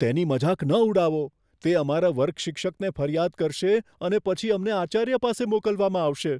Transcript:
તેની મજાક ન ઉડાવો. તે અમારા વર્ગ શિક્ષકને ફરિયાદ કરશે અને પછી અમને આચાર્ય પાસે મોકલવામાં આવશે.